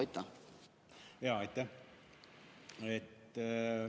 Aitäh!